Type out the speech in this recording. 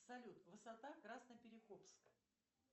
салют высота красноперекопск